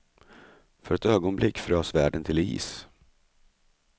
För ett ögonblick frös världen till is.